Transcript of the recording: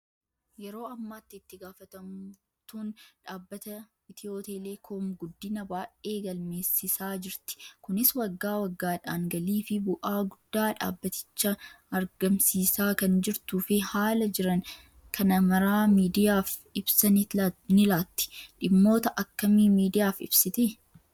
Yeroo ammaatti itti gaafatamtuun dhaabbata Itiyootelekoom guddina baay'ee galmeessisaa jirti. Kunis waggaa waggaadhaan galii fi bu'aa guddaa dhaabbaticha argamsiisaa kan jirtuu fi haala jiran kana maraa miidiyaaf ibsa ni laatti. Dhimmoota akkamii miidiyaaf ibsiti?